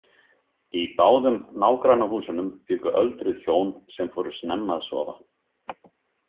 Í báðum nágrannahúsunum bjuggu öldruð hjón sem fóru snemma að sofa.